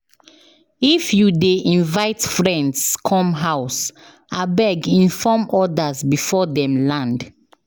If you dey invite friends come house, abeg inform others before dem land.